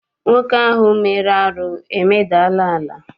Nwoke ahụ mere arụ emedala ala.